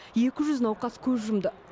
екі жүз науқас көз жұмды